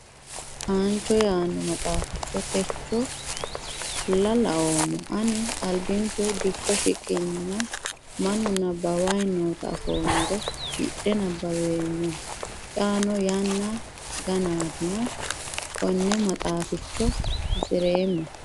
Anicho yaano maxaaficho techola laoommo ani albinku dikko shiqqenna mannu nabbawani nootta afoommoro hidhe nabbaweemmo xaano yanna ganatinna kone maxaaficho hasiireemmo.